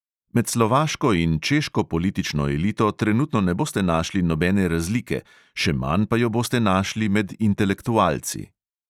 Med slovaško in češko politično elito trenutno ne boste našli nobene razlike, še manj pa jo boste našli med intelektualci.